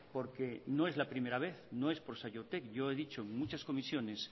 porque no es la primera no es por saiotek yo he dicho en muchas comisiones